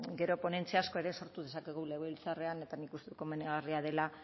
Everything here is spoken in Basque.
gero ponentzia asko ere sortu dezakegu legebiltzarrean eta nik uste dut komenigarria dela